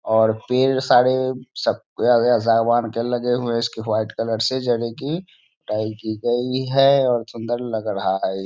और पेड़ सारे इसकी व्हाइट कलर से की की गई है और सुंदर लग रहा है ।